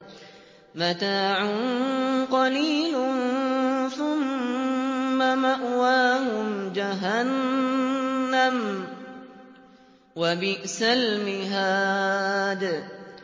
مَتَاعٌ قَلِيلٌ ثُمَّ مَأْوَاهُمْ جَهَنَّمُ ۚ وَبِئْسَ الْمِهَادُ